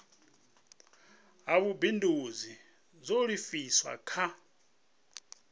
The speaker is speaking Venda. ha vhubindudzi zwo livhiswa kha